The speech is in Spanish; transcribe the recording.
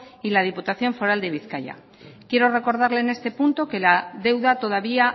y la diputación foral de bizkaia quiero recordarle en este punto que la deuda todavía